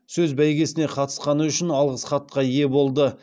сөз бәйгесіне қатысқаны үшін алғыс хатқа ие болды